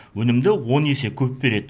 өнімді он есе көп береді